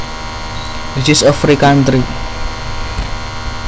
This is a free country